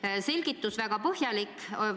Teie selgitus oli väga põhjalik.